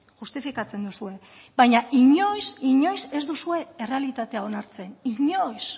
justifikatzen duzue baina inoiz inoiz ez duzue errealitatea onartzen inoiz